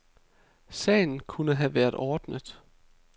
Sagen kunne have være ordnet, .